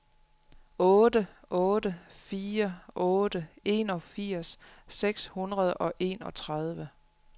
otte otte fire otte enogfirs seks hundrede og enogtredive